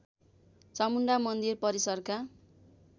चामुण्डा मन्दिर परिसरका